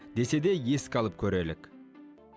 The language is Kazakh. десе де еске алып көрелік